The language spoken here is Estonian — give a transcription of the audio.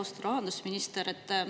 Austatud rahandusminister!